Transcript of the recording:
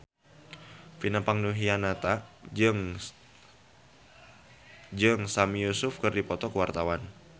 Vina Panduwinata jeung Sami Yusuf keur dipoto ku wartawan